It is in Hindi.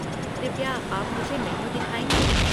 कृपया आप मुझे मेन्यू दिखाएँगे?